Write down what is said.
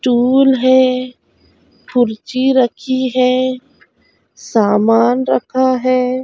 Tool है कुर्सी रखी है सामान रखा है।